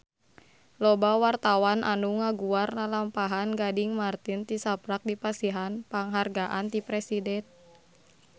Loba wartawan anu ngaguar lalampahan Gading Marten tisaprak dipasihan panghargaan ti Presiden